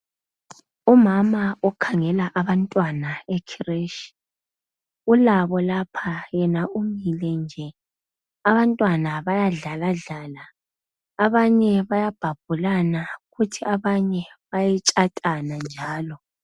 Umama okhangela abantwana ekhireshi, ulabo lapha, yena umile nje. Abantwana bayadlaladlala, abanye bayabhabhulana, kuthi abanye bayetshatana njalo.